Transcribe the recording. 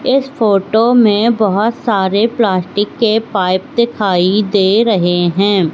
इस फोटो में बहोत सारे प्लास्टिक के पाइप दिखाई दे रहे हैं।